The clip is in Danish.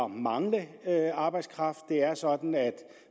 mangle arbejdskraft det er sådan at